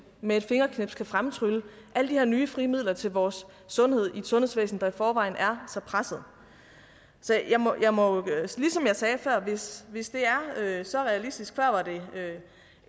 med et fingerknips kan fremtrylle alle de her nye frie midler til vores sundhed i et sundhedsvæsen der i forvejen er så presset så ligesom jeg sagde før hvis hvis det er så realistisk før var det